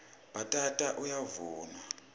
bhatata uyavunwa